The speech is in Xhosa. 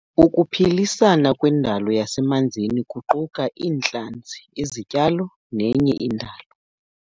Ukuphilisana kwendalo yasemanzini kuquka iintlanzi, izityalo nenye indalo.